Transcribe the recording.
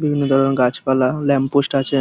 বিভিন্ন ধরনের গাছপালা ল্যাম্প পোস্ট আছে।